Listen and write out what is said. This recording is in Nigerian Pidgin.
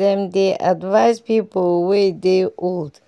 dem dey advise people wey dey old